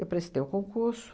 prestei o concurso.